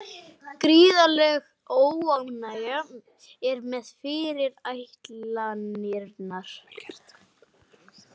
Gríðarleg óánægja er með fyrirætlanirnar